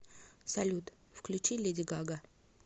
салют включи леди гага